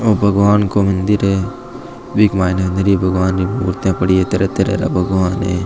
ओ भगवान को मंदिर है विक माइन नीरी मुर्तिया पड़ी है तरह तरह के भगवान है।